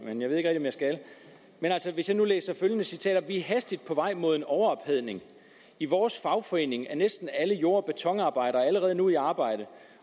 men jeg skal hvis jeg nu læser følgende citat op er hastigt på vej mod en overophedning i vores fagforening er næsten alle jord og betonarbejdere allerede nu i arbejde